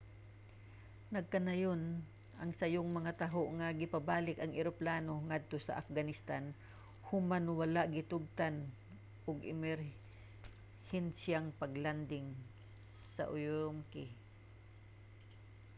nagkanayon ang sayong mga taho nga gipabalik ang eroplano ngadto sa afghanistan human wala gitugtan og emerhensiyang pag-landing sa ürümqi